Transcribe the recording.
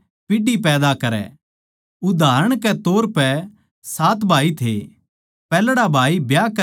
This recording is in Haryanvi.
उदाहरण के तौर पै सात भाई थे पैहल्ड़ा भाई ब्याह करकै बेऊलादा मरग्या